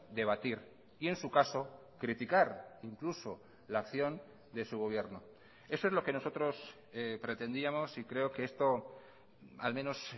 debatir y en su caso criticar incluso la acción de su gobierno eso es lo que nosotros pretendíamos y creo que esto al menos